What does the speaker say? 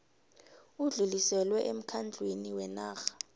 udluliselwe emkhandlwini wenarha